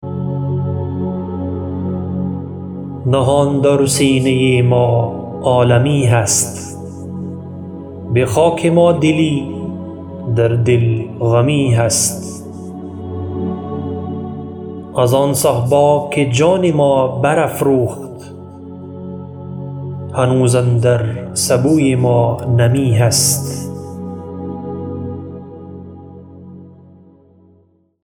نهان در سینه ما عالمی هست بخاک ما دلی در دل غمی هست از آن صهبا که جان ما بر افروخت هنوز اندر سبوی ما نمی هست